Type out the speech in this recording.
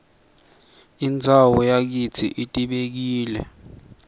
indzawo yakitsi ibekile